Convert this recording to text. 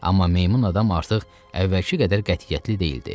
Amma meymun adam artıq əvvəlki qədər qətiyyətli deyildi.